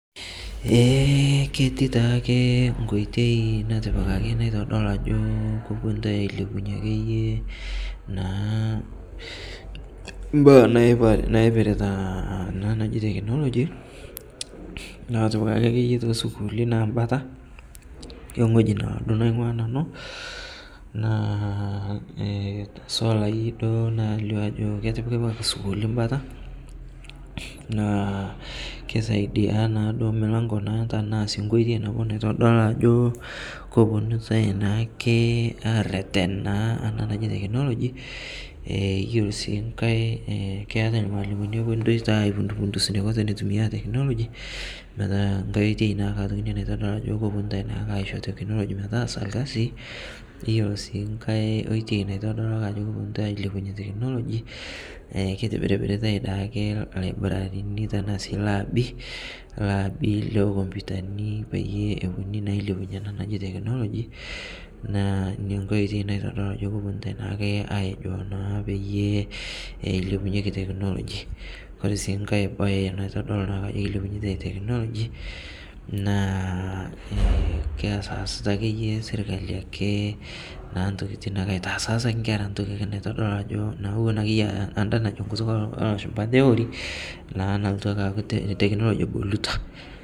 ee keti taake nkoitei natipikaki naitodoluu ajoo koponutai ailepunye akeye naa mbaa naipirita ana naji technology naatipikaki akeye te sukuuli naa mbataa enghoji naaduo naingua nanu naa haswa taayie eilio ajo ketipikipika sukuuli mbata naa keisaidia naaduo mlango naa tanaa sii nkoitei nabo naitodolu ajo koponutai naake aretenaa ana naji teknologi eyelo sii ghai keatai lmaalimoni oponu aipundus neiko teneitumia teknology metaa nghai oitei naake inia naitodolu ajo koponutai naake aisho technology metaasa lkazi iyolo sii nghai oitei naitodolu ajo koponutai ailepunye technology keitibiribiritai daake libraririni tanaa sii labii, labii lekompitanii peyie eponunui naa ailepunye anaa naji technology naa inia nghai oitei naitodolu ajo koponutai naake ajo payie eilepunyeki technology kore sii nghai bai naitodol naake ajo keilepunyeitai technology naa keasasita akeye sirkali akee naa ntokitin ake aitaas aas ake nkera ntokii naitodolu ajo ewon akeye ee aah anda najo nkutuk elashumpa theory naa nalotuu ake aaku technology egolutaa